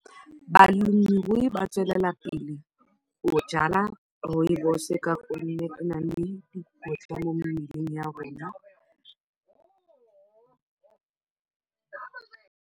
Balemirui ba tswelela pele go jwala rooibos ka gonne e na le dikotla mo mmeleng ya rona.